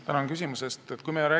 Tänan küsimuse eest!